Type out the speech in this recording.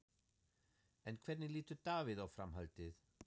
En hvernig lítur Davíð á framhaldið?